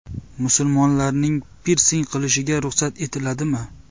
Musulmonlarning pirsing qilishiga ruxsat etiladimi?.